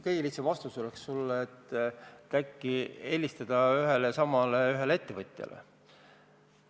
Kõige lihtsam vastus oleks sulle see, et äkki helistada ühele ja samale ettevõtjale.